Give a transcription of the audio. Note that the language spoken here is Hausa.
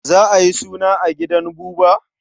Za a yi suna a gidan Buba?